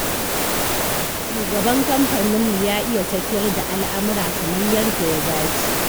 Shugaban kamfaninmu ya iya tafiyar da al'amura kamar yadda ya dace.